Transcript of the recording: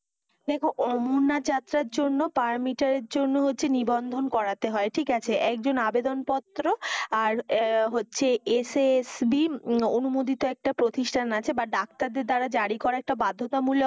দেখো অমরনাথ যাত্রার জন্য per metre এর জন্য হচ্ছে নিবন্ধন করাতে হয়, ঠিক আছে। একজন আবেদনপত্র, আর হচ্ছে SSB অনুমোদিত একটা প্রতিষ্ঠান আছে বা ডাক্তারদের দ্বারা জারি করাএটা বাধ্যতামূলক